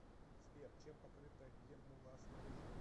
сбер чем покрыта геммула снаружи